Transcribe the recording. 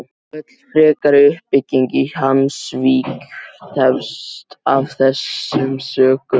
Öll frekari uppbygging í Hvammsvík tefst af þessum sökum.